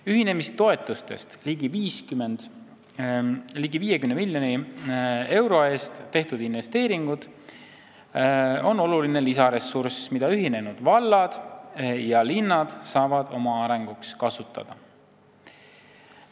Ühinemistoetustest ligi 50 miljoni euro eest tehtud investeeringud on lisaressurss, mida ühinenud vallad ja linnad saavad oma arenguks kasutada.